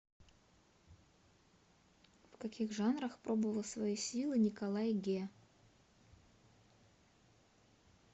в каких жанрах пробовал свои силы николай ге